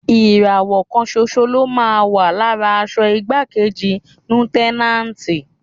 Ìràwọ̀ kan ṣoṣo ló máa ń wà lára aṣọ igbákejì Lútẹ́náǹtì.